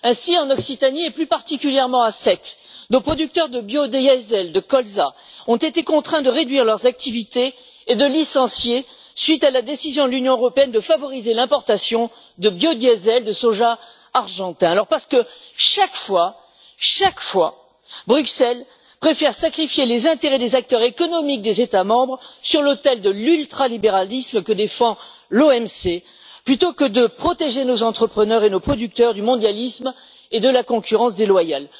Ainsi, en Occitanie, et plus particulièrement à Sète, nos producteurs de biodiesel de colza ont été contraints de réduire leurs activités et de licencier à la suite de la décision de l'Union européenne de favoriser l'importation de biodiesel de soja argentin. En effet, chaque fois, Bruxelles préfère sacrifier les intérêts des acteurs économiques des États membres sur l'autel de l'ultralibéralisme, que défend l'OMC, plutôt que de protéger nos entrepreneurs et nos producteurs du mondialisme et de la concurrence déloyale.